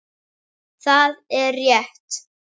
Það er rétt.